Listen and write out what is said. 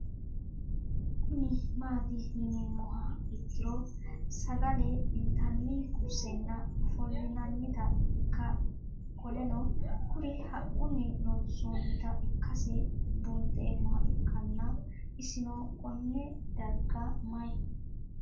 Kuni mati yinumoha ikiro sagale intani kursena ofolinanita ika qoleno kuri haquni loonsonita ikase bunxemoha ikana isino Kone darga mayi